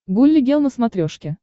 гулли гел на смотрешке